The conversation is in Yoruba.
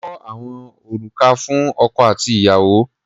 Kó àwọn òrùka fún ọkọ àti ìyàwó.